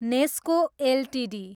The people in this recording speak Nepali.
नेस्को एलटिडी